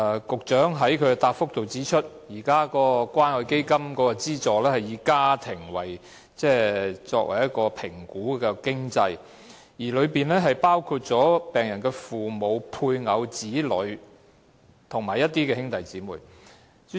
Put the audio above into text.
局長在主體答覆中指出，現時關愛基金提供的資助須通過以"家庭"為單位的經濟評估，當中包括病人的父母、配偶、子女，以及兄弟姊妹。